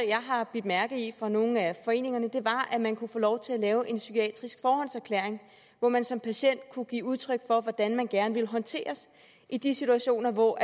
jeg har bidt mærke i fra nogle af foreningerne var at man kunne få lov til at lave en psykiatrisk forhåndserklæring hvor man som patient kunne give udtryk for hvordan man gerne ville håndteres i de situationer hvor